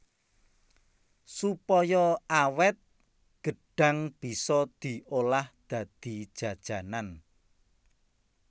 Supaya awét gêdhang bisa diolah dadi jajanan